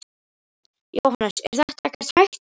Jóhannes: Er þetta ekkert hættulegt?